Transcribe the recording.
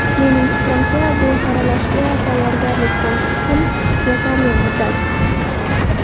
Mening fikrimcha, bu saralashga tayyorgarlik ko‘rish uchun yetarli muddat.